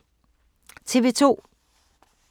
TV 2